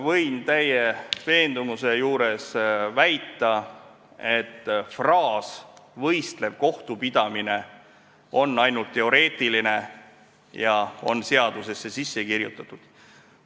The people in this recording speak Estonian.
Võin täie veendumusega väita, et fraas "võistlev kohtupidamine" on ainult teoreetiline, see on seadusesse sisse kirjutatud.